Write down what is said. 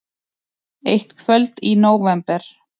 Eitt kvöld í nóvember.